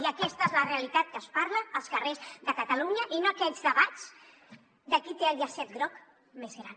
i aquesta és la realitat que es parla als carrers de catalunya i no aquests debats de qui té el llacet groc més gran